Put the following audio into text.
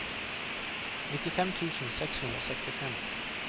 nittifem tusen seks hundre og sekstifem